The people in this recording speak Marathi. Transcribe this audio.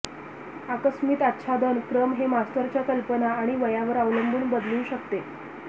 आकस्मिक आच्छादन क्रम हे मास्टरच्या कल्पना आणि वयावर अवलंबून बदलू शकते